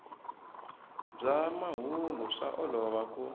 bya mahungu swa olova ku